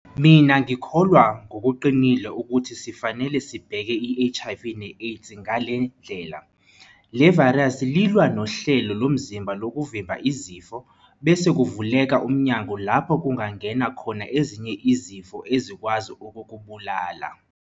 Mina ngikholwa ngokuqinile ukuthi sifanele sibheke iHIV neAIDS ngale ndlela. Le vayirisi lilwa nohlelo lomzimba lokuvimba izifo, bese kuvuleka umnyango lapho kungangena khona ezinye izifo ezikwazi ukukubulala.